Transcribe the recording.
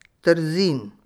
Trzin.